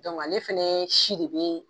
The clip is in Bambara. ale fɛnɛ si de be